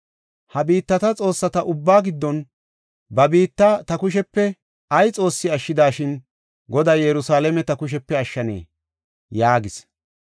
Ha biittata xoossata ubbaa giddon, ba biitta ta kushepe ay xoossi ashshidashin, Goday Yerusalaame ta kushepe ashshanee?” yaagis.